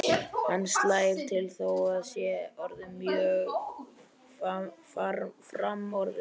Hann slær til þó að það sé orðið mjög framorðið.